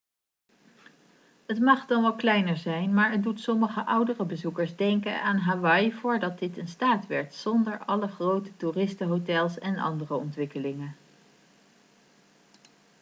het mag dan wel kleiner zijn maar het doet sommige oudere bezoekers denken aan hawaii voordat dit een staat werd zonder alle grote toeristenhotels en andere ontwikkelingen